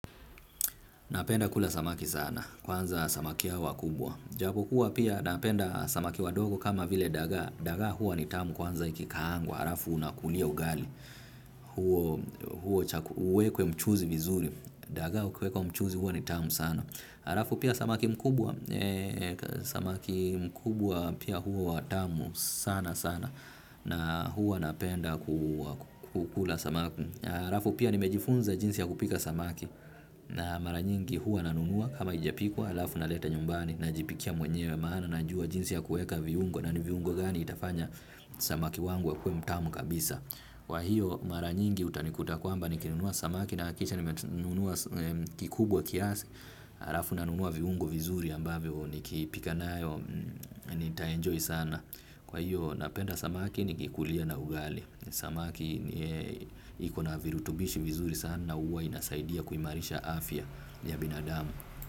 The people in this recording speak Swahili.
Napenda kula samaki sana. Kwanza samaki hawa kubwa. Japo kuwa pia napenda samaki wadogo kama vile daga. Daga huwa ni tamu kwanza ikikangwa. Arafu unakulia ugali. Huo uwekwe mchuzi mizuri. Daga uwekwe mchuzi huwa ni tamu sana. Arafu pia samaki mkubwa. Samaki mkubwa pia huwa tamu sana sana. Na huwa napenda kukula samaki. Arafu pia nimejifunza jinsi ya kupika samaki. Na maranyingi huwa nanunua kama ijapikwa alafu naleta nyumbani najipikia mwenyewe maana najua jinsi ya kueka viungo na ni viungo gani itafanya samaki wangu akuwe mtamu kabisa kwa hiyo maranyingi utanikuta kwamba nikinunua samaki nahakisha nimenunua kikubwa kiasi. Arafu nanunua viungo vizuri ambavyo ni kipika nayo nita enjoy sana kwa hiyo napenda samaki nikikulia na ugali. Samaki ikona virutubishi vizuri sana. Uwa inasaidia kuimarisha afya ya binadamu.